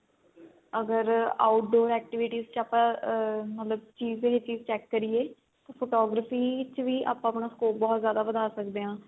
ਅਗਰ outdoor activities ਚ ਆਪਾਂ ਮਤਲਬ ਚੀਜ ਦੇ ਲਈ ਚੀਜ check ਕਰੀਏ photography ਚ ਵੀ ਆਪਾਂ ਆਪਣਾ scope ਬਹੁਤ ਜਿਆਦਾ ਵੱਧਾ ਸਕਦੇ ਆ